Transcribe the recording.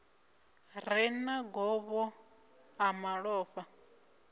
re na govho ḽa malofha